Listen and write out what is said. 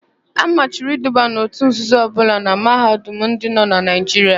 A machiri iduba n òtù nzuzo ọbụla na Mahadum ndị nọ na Naijiria.